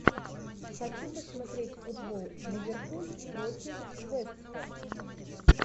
хочу посмотреть футбол ливерпуль против вест хэма